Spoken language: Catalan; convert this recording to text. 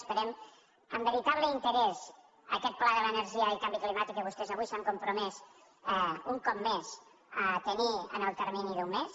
esperem amb veritable interès aquest pla de l’energia i canvi climàtic que vostès avui s’han compromès un cop més a tenir en el termini d’un mes